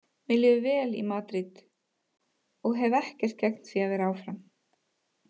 Mér líður vel í Madríd og hef ekkert gegn því að vera áfram.